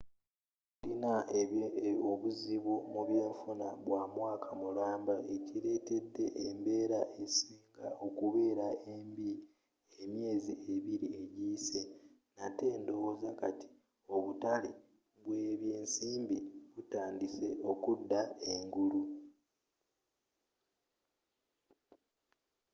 tulina obuzibu mubyenfuna bwamwaaka mulamba ekiretedde embeera esinga okubeera embi emyeezi ebiri ejiyise nate ndowooza kati obutale bwebyensimbi butandise okuda engulu.